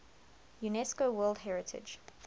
unesco world heritage